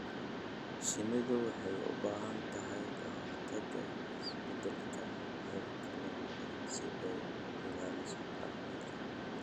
Shinnidu waxay u baahan tahay ka-hortagga isbeddelka heerkulka ba'an si ay u ilaaliso caafimaadkeeda.